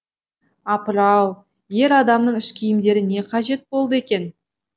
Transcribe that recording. апыр ау ер адамның іш киімдері не қажет болды екен